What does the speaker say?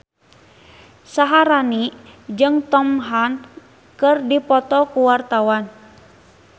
Syaharani jeung Tom Hanks keur dipoto ku wartawan